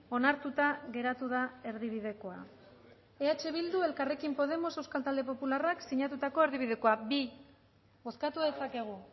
onartuta geratu da erdibidekoa eh bildu elkarrekin podemos euskal talde popularrak sinatutako erdibidekoa bi bozkatu dezakegu